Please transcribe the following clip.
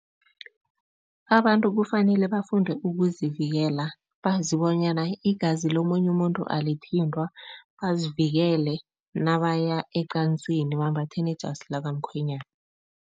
Abantu kufanele bafunde ukuzivikela, bazi bonyana igazi lomunye umuntu alithintwa, bazivikele nabaya ecansini, bambathe nejasi lakamkhwenyana.